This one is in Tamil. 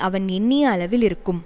அவன் எண்ணிய அளவில் இருக்கும்